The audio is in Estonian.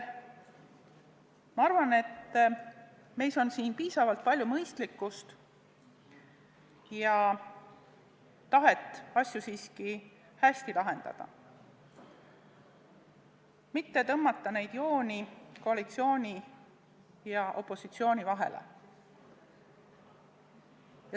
Ma arvan, et meis on siin piisavalt palju mõistlikkust ja tahet asju siiski hästi lahendada, mitte tõmmata jooni koalitsiooni ja opositsiooni vahele.